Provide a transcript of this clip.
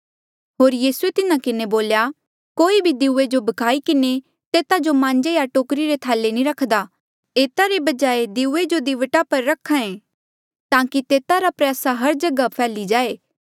होर यीसूए तिन्हा किन्हें बोल्या कोई भी दीऊया जो भ्खाई किन्हें तेता जो मांजे या टोकरी रे थाले नी रखदा एता रे बजाय दिऊये जो दीवटा पर रख्हा ऐें ताकि तेता रा प्रयासा हर जगहा फैल्ही जाये